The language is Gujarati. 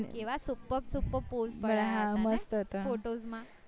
કેવા superb superb pose photos માં